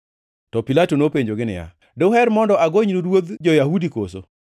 To Pilato nopenjogi niya, “Duher mondo agonynu ruodh jo-Yahudi koso?”